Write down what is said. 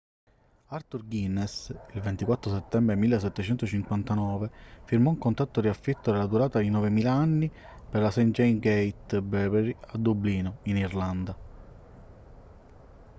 arthur guinness il 24 settembre 1759 firmò un contratto di affitto della durata di 9.000 anni per la st. james's gate brewery a dublino in irlanda